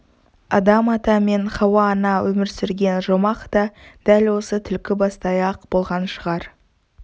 адам-ата мен хауа-ана өмір сүрген жұмақ та дәл осы түлкібастай-ақ болған шығар